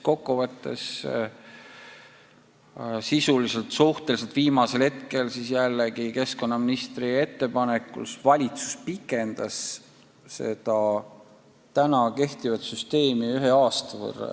Ja sisuliselt suhteliselt viimasel hetkel valitsus pikendas keskkonnaministri ettepanekul süsteemi kehtimist ühe aasta võrra.